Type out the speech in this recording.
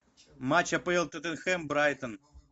матч апл тоттенхэм брайтон